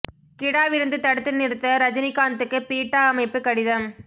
கிடா விருந்து தடுத்து நிறுத்த ரஜினிகாந்த்துக்கு பீட்டா அமைப்பு கடிதம்